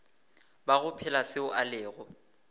bago phela seo a lego